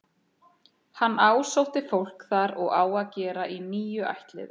Hann ásótti fólk þar og á að gera í níu ættliði.